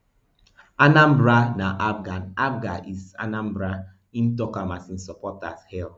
anambra na apga and apga is anambra im tok as im supporters hail